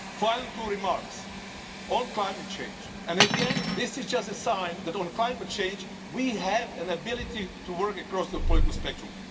Final two remarks on climate change, and again this is just a sign that on climate change we have an ability to work across the political spectrum.